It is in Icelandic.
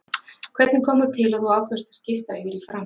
Hvernig kom það til að þú ákvaðst að skipta yfir í FRAM?